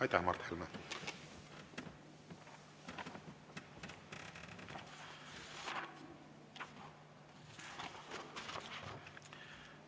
Aitäh, Mart Helme!